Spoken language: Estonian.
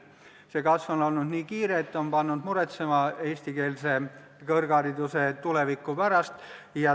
See kasv on olnud nii kiire, et on pannud muretsema eestikeelse kõrghariduse tuleviku pärast.